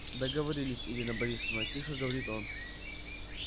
договорились ирина борисовна тихо говорит он